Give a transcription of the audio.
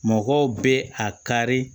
Mɔgɔw bɛ a kari